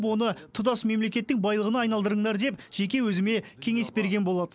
оны тұтас мемлекеттің байлығына айналдырыңдар деп жеке өзіме кеңес берген болады